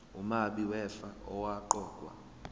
umabi wefa owaqokwa